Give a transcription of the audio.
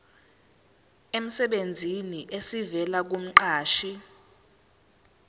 emsebenzini esivela kumqashi